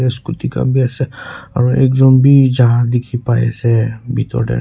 scooty khan bhi ase aru ekjont bhi ja dekhi pai ase bethor te.